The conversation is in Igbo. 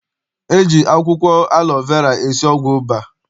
E ji akwụkwọ alọ vera esi ọgwụ ụba.